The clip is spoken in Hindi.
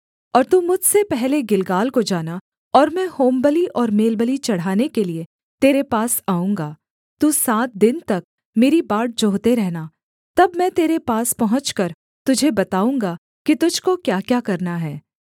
और तू मुझसे पहले गिलगाल को जाना और मैं होमबलि और मेलबलि चढ़ाने के लिये तेरे पास आऊँगा तू सात दिन तक मेरी बाट जोहते रहना तब मैं तेरे पास पहुँचकर तुझे बताऊँगा कि तुझको क्याक्या करना है